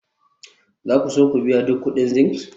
za ku so ku biya duk kuɗin zinc?